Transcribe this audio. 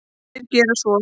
Þeir gera svo.